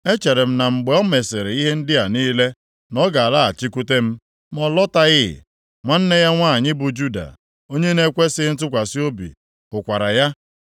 Echere m na mgbe o mesịrị ihe ndị a niile na ọ ga-alọghachikwute m, ma ọ lọtaghị. Nwanne ya nwanyị bụ Juda, onye na-ekwesighị ntụkwasị obi hụkwara ya.